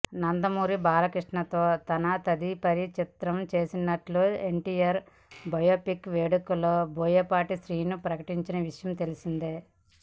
నందమూరి బాలకృష్ణ తో తన తదుపరి చిత్రం చేయనున్నట్లు ఎన్టీఆర్ బయోపిక్ వేడుకలో బోయపాటి శ్రీను ప్రకటించిన విషయం తెలిసిందే